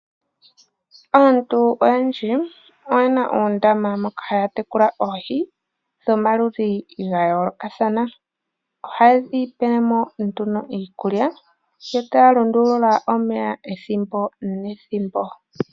Aantu oyendji oyena oondama moka haa tekula oohi dhomaludhi ga yoolokathana. Ohaye dhipele mo nduno iikulya yo taa lundulula omeya ethimbo nethimbo.